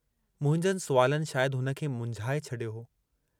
मुंहिंजनि सुवालनि शायदि हुन खे मुंझाए छॾियो।